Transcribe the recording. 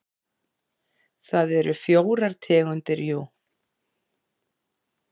Það eru fjórar tegundir jú.